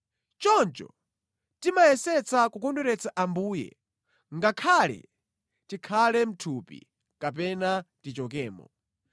Choncho timayesetsa kukondweretsa Ambuye, ngakhale tikhale mʼthupi, kapena tichokemo.